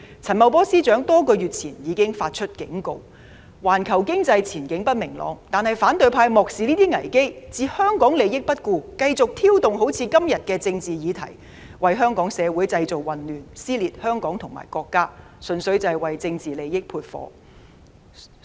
陳茂波司長多個月前已警告環球經濟前景不明朗，但反對派漠視這些危機，置香港利益於不顧，繼續挑動今天這種政治議題，為香港社會製造混亂，撕裂香港和國家，純粹為政治利益煽風點火。